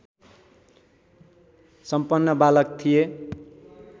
सम्पन्न बालक थिए